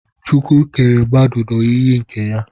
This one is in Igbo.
chukwu kere mmadu n'oyiyi nke ya